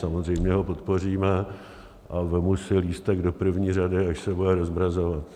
Samozřejmě ho podpoříme a vezmu si lístek do první řady, až se bude rozmrazovat.